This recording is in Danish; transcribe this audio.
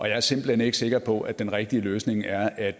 jeg er simpelt hen ikke sikker på at den rigtige løsning er at